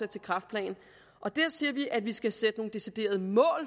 til kræftplan og der siger vi at vi skal sætte nogle deciderede mål